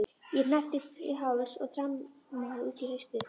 Ég hneppti upp í háls og þrammaði út í haustið.